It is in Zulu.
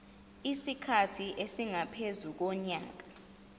isikhathi esingaphezu konyaka